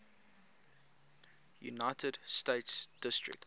united states district